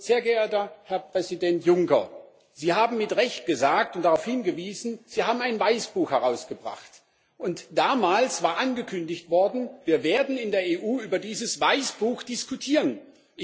Sehr geehrter Herr Präsident Juncker, Sie haben mit Recht gesagt und darauf hingewiesen Sie haben ein Weißbuch herausgebracht, und damals war angekündigt worden, dass wir in der EU über dieses Weißbuch diskutieren werden.